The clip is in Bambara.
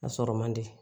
A sɔrɔ man di